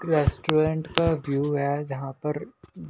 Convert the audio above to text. restaurant का view है जहां पर--